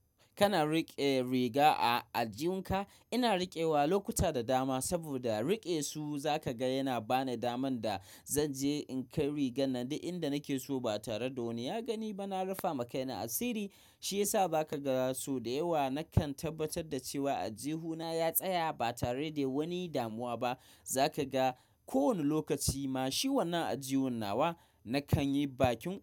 Kana riƙe riga a aljihun ka? Ina riƙewa lokuta da dama saboda riƙe su zaka ga yana bani daman da zan je in kai rigan nan da inda nake so ba tare da wani ya gani ba. Na rufama kaina a siri shiyasa zaka ga so da yawa. Nakan tabbatar da cewa aljihuna ya tsaya ba tare da wani damuwa ba. Zaka ga kowane lokaci ma shi wannan aljihu nawa nakan yi bakin.